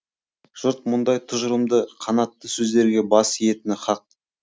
жұрт мұндай тұжырымды қанатты сөздерге бас иетіні хақ